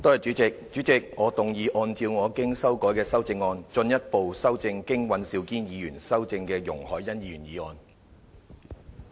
主席，我動議按照我經修改的修正案，進一步修正經尹兆堅議員修正的容海恩議員議案。